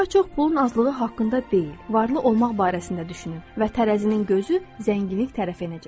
Daha çox pulun azlığı haqqında deyil, varlı olmaq barəsində düşünün və tərəzinin gözü zənginlik tərəf enəcək.